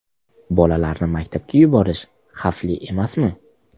Bolalarni maktabga yuborish xavfli emasmi?